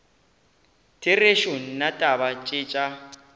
therešo nna taba tše tša